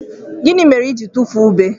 Gini mere i jiri tufuo ube?